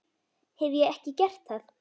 Hef ég ekki gert það?